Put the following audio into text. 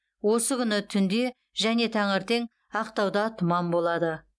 осы күні түнде және таңертең ақтаудада тұман болады